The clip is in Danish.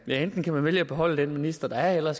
enten kan man vælge at beholde den minister der er eller